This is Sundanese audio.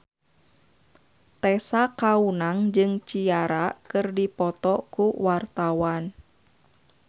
Tessa Kaunang jeung Ciara keur dipoto ku wartawan